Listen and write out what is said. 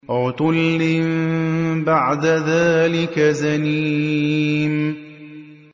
عُتُلٍّ بَعْدَ ذَٰلِكَ زَنِيمٍ